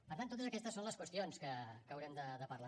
per tant totes aquestes són les qüestions que haurem de parlar